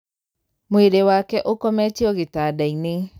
Mwĩrĩwake ũkometio gĩtanda-inĩ.